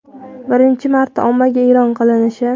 birinchi marta ommaga e’lon qilinishi).